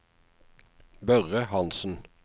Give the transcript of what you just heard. Børre Hanssen